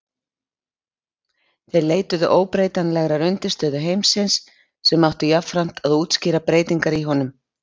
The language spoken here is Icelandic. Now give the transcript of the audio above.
þeir leituðu óbreytanlegrar undirstöðu heimsins sem átti jafnframt að útskýra breytingar í honum